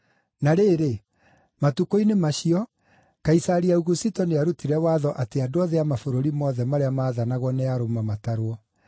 Na rĩrĩ, matukũ-inĩ macio, Kaisari Augusito nĩarutire watho atĩ andũ othe a mabũrũri mothe marĩa maathanagwo nĩ Aroma matarwo.